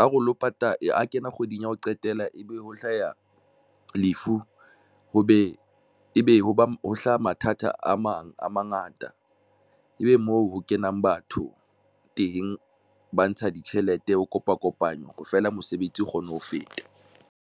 a re o lo a kena kgweding ya ho qetela, ebe ho hlaha lefu ho be mme ebe hoba ho hlaha mathata a mang a mangata, ebe moo ho kenang batho teng ba ntsha ditjhelete ho kopa kopano feela. mosebetsi o kgone ho feta.